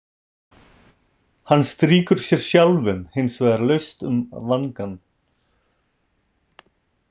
Hann strýkur sér sjálfum hins vegar laust um vangann.